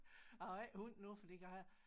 Jeg har ikke hund nu fordi jeg har